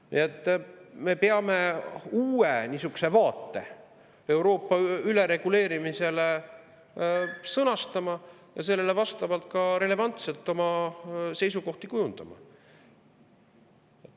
Nii et me peame niisuguse uue vaate Euroopa ülereguleerimise kohta sõnastama ja sellele vastavalt ka relevantselt oma seisukohti kujundama.